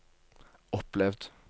opplevd